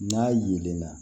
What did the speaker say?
N'a yelenna